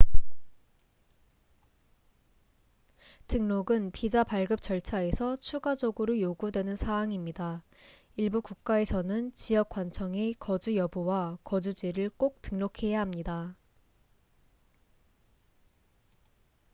등록은 비자 발급 절차에서 추가적으로 요구되는 사항입니다 일부 국가에서는 지역 관청에 거주 여부와 거주지를 꼭 등록해야 합니다